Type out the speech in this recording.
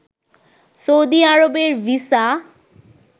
Saudi আরবের visa